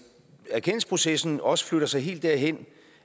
erkendelsesprocessen også flytter sig helt derhen